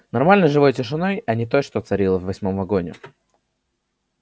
нормальной живой тишиной а не той что царила в восьмом вагоне